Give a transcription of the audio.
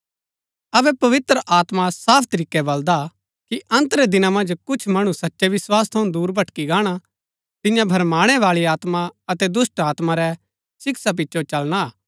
अबै पवित्र आत्मा साफ तरीकै बल्‍दा कि अन्त रै दिना मन्ज कुछ मणु सच्चै विस्वास थऊँ दूर भटकी गाणा तिन्या भरमाणै बाळी आत्मा अतै दुष्‍टात्मा री शिक्षा पिचो चलना हा